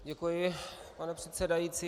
Děkuji, pane předsedající.